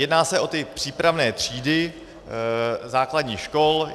Jedná se o ty přípravné třídy základních škol.